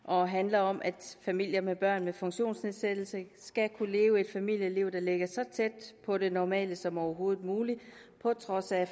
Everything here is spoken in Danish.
og handler om at familier med børn med funktionsnedsættelse skal kunne leve et familieliv der ligger så tæt på det normale som overhovedet muligt på trods af